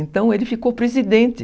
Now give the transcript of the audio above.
Então ele ficou presidente.